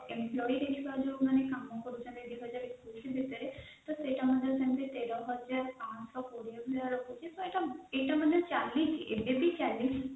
employee ଦେଖିବା ଯୌମାନେ କାମକରୁଛନ୍ତି ଦୁଇ ହଜାର ଏକୋଇଶି ମସିହାରେ ତେର ହଜାର ପାଞ୍ଚ ସହ କୋଡିଏ ଏଇଟା ଆମର ଚାଲିଛି ଏବେବି ଚାଲିଛି